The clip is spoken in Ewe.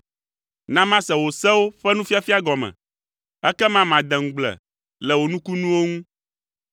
Na mase wò sewo ƒe nufiafia gɔme; ekema made ŋugble le wò nukunuwo ŋu.